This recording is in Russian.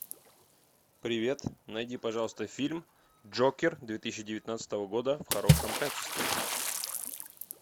привет найди пожалуйста фильм джокер две тысячи девятнадцатого года в хорошем качестве